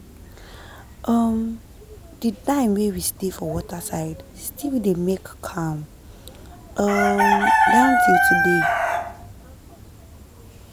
um the time wey we stay for waterside still dey make calm um down till today.